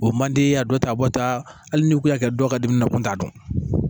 O man di a dɔ ta bɔta hali ni kun y'a kɛ dɔ ka dimi nakun t'a dɔn